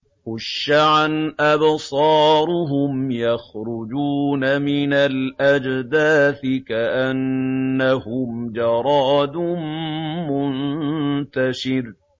خُشَّعًا أَبْصَارُهُمْ يَخْرُجُونَ مِنَ الْأَجْدَاثِ كَأَنَّهُمْ جَرَادٌ مُّنتَشِرٌ